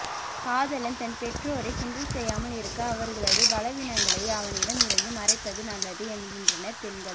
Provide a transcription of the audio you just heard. காதலன் தன் பெற்றோரைக் கிண்டல் செய்யாமல் இருக்க அவர்களது பலவீனங்களை அவனிடம் இருந்து மறைப்பது நல்லது என்கின்றனர் பெண்கள்